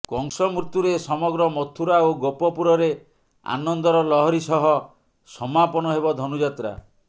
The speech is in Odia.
କଂସ ମୃତ୍ୟୁରେ ସମଗ୍ର ମଥୁରା ଓ ଗୋପପୁରରେ ଆନନ୍ଦର ଲହରୀ ସହ ସମାପନ ହେବ ଧନୁଯାତ୍ରା